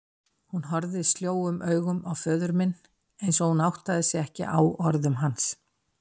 Hún horfði sljóum augum á föður minn einsog hún áttaði sig ekki á orðum hans.